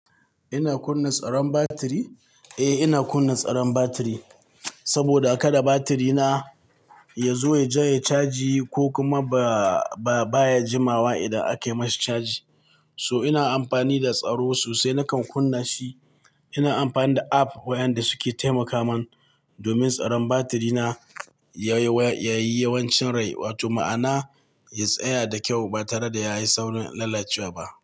Ina kunna tsaron batiri? Eh, ina kunna tsaron batiri saboda kada batirina ya zo ya janye caji ko kuma ba, ba baya jimawa idan ake mashi caji. So ina amfani da tsaro sosai nakan kunna shi. Ina amfani da app wayanda suke taimaka man domin tsaron batirina ya yi, ya yi yawancin rai, wato ma'ana ya tsaya da kyau ba tare da ya yi saurin lalacewa ba.